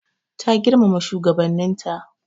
Ta girmama shigabannin ta.